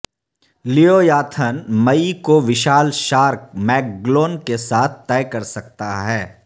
leviathan مئی کو وشال شارک میگگلون کے ساتھ طے کر سکتا ہے